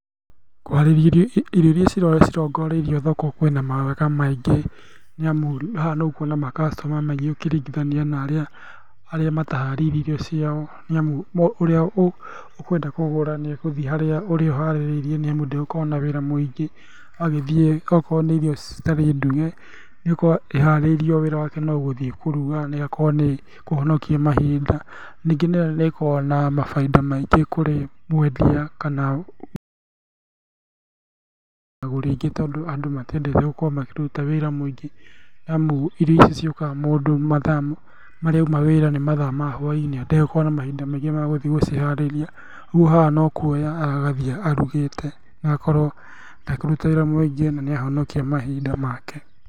Kũharĩria irio iria cirongoreirio thoko kwĩna mawega maingĩ nĩamu haha nĩũkuona ma customer maingĩ ũkĩringithania na arĩa mataharĩirie irio ciao, nĩamu ũrĩa ũkwenda kũgũra nĩ egũthiĩ harĩ ũrĩa ũharĩrĩirie nĩ amu ndegũkorwo na wĩra mũingĩ agĩthiĩ, akorwo nĩ irio citarĩ nduge, nĩũgũkora iharĩirio wĩra wake nogũthiĩ kũruga nagũgakorwo nĩkũhonokia mahinda ningĩ noĩkoragwo na mabainda maingĩ kũrĩ mwendia kana agũri aingĩ tondũ andũ matiendete gũkorwo makĩryuta wĩra mũingĩ nĩamu irio ici ciũkaga mũndũ mathaa marĩa auma wĩra nĩ mathaa ma hwainĩ, ndegũkorwo na mahinda maingĩ magũthiĩ gũciharĩria, ũguo haha nokuoya aroya agathiĩ arugĩte agakorwo ndekũruta wĩra mũingĩ, na nĩ ahonokia mahinda make.